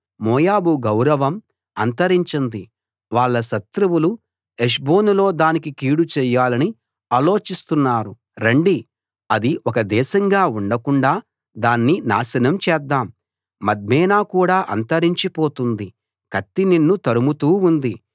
మోయాబు గౌరవం అంతరించింది వాళ్ళ శత్రువులు హెష్బోనులో దానికి కీడు చేయాలని ఆలోచిస్తున్నారు రండి అది ఒక దేశంగా ఉండకుండా దాన్ని నాశనం చేద్దాం మద్మేనా కూడా అంతరించి పోతుంది కత్తి నిన్ను తరుముతూ ఉంది